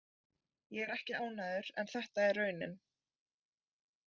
Ég er ekki ánægður en þetta er raunin.